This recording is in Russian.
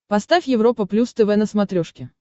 поставь европа плюс тв на смотрешке